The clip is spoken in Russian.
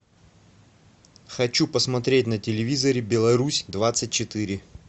хочу посмотреть на телевизоре беларусь двадцать четыре